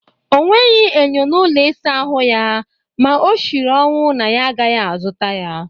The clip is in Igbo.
O nweghị enyo n'ụlọ ịsa ahụ ya ma o shiri ọnwụ na ya agaghị azụta ya